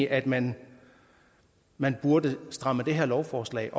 at man man burde stramme det her lovforslag